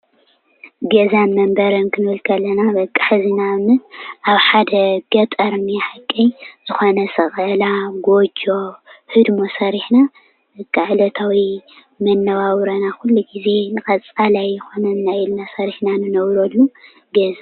ገዛን መንበርን ክንብል ከለና በቃ ሕዚ ንኣብነት ኣብ ሓደ ገጠር እኒኦ ሓቀይ ዝኾነ ሰቐላ፣ ጎጆ፣ ህድሞ ሰሪሕና በቃ ዕለታዊ መነባብሮና ኩሉ ግዜ ንቐፃላይ ይኾነና እዩ ኢልና ሰሪሕና ንነብረሉ ገዛ ።